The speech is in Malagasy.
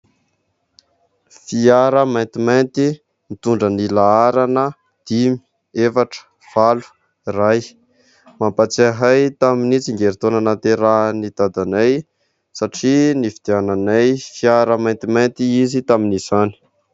Fiara maintimainty mitondra ny laharana : dimy, efatra, valo, iray. Mampatsiahy ahy tamin'ny tsingeritaona nahaterahan'ny dadanay satria nividiananay fiara maintimainty izy tamin'izany.